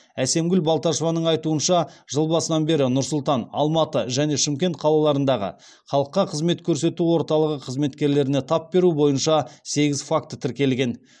әсемгүл балташеваның айтуынша жыл басынан бері нұр сұлтан алматы және шымкент қалаларындағы халыққа қызмет көрсету орталығы қызметкерлеріне тап беру бойынша сегіз факт тіркелген